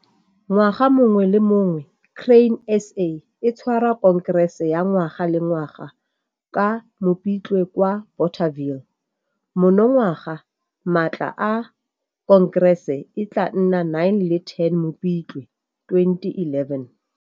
Ngwaga mongwe le mongwe Grain SA e tshwara Khonkerese ya ngwaga le ngwaga ka Mopitlwe kwa Bothaville. Monongwaga matlha a Khonkerese e tlaa nna 9 le 10 Mopitlwe, 2011.